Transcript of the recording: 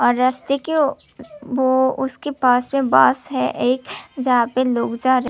रास्ते के ओ उसके पास से बस है एक जहां पे लोग जा--